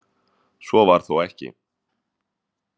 Svo var þó ekki.